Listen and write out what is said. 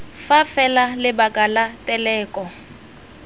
fa fela lebaka la teleko